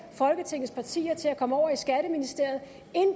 folketingets partier til at komme over i skatteministeriet